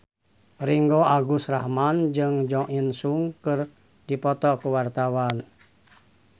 Ringgo Agus Rahman jeung Jo In Sung keur dipoto ku wartawan